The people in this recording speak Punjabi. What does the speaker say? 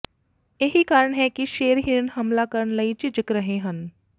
ਇਹੀ ਕਾਰਣ ਹੈ ਕਿ ਸ਼ੇਰ ਹਿਰਨ ਹਮਲਾ ਕਰਨ ਲਈ ਝਿਜਕ ਰਹੇ ਹਨ